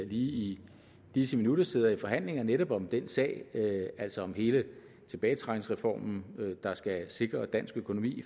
i disse minutter sidder i forhandlinger i finansministeriet netop om den sag altså om hele tilbagetrækningsreformen der skal sikre dansk økonomi